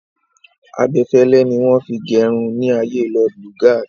Abẹfẹlẹ ni wọ́n fi gerun ní ayée Lord Lugard.